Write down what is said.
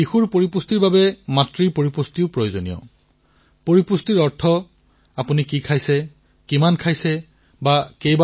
শিশুৰ পুষ্টিৰ বাবেও মাকেও যাতে সম্পূৰ্ণ পুষ্টি লাভ কৰিব পাৰে আৰু পুষ্টিৰ অৰ্থ কেৱল এয়াই নহয় যে আপুনি কি খাইছে কিমান পৰিমাণৰ খাইছে আৰু কিমান বাৰ খাইছে